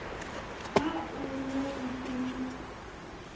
ha o ne o se